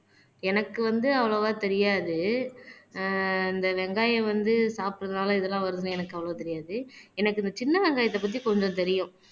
எனக்கு வந்து அவ்வளவா தெரியாது ஆஹ் இந்த வெங்காயம் வந்து சாப்பிடறதுனால இதெல்லாம் வருதுன்னு எனக்கு அவ்வளவு தெரியாது எனக்கு இந்த சின்ன வெங்காயத்தை பத்தி கொஞ்சம் தெரியும்.